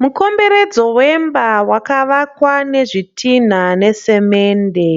Mukomberedzo wemba wakavakwa nezvitina nesimende.